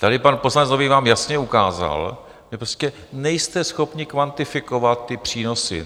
Tady pan poslanec Nový vám jasně ukázal, že prostě nejste schopni kvantifikovat ty přínosy.